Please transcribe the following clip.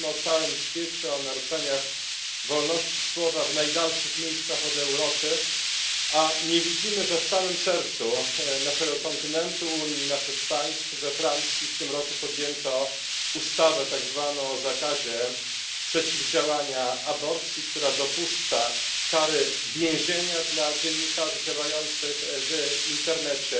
Mówimy o całym świecie, o naruszeniach wolności słowa w najdalszych miejscach od Europy, a nie widzimy, że w samym sercu naszego kontynentu, Unii i naszych państw, we Francji, podjęto w tym roku tak zwaną ustawę o zakazie przeciwdziałania aborcji, która dopuszcza kary więzienia dla dziennikarzy działających w internecie,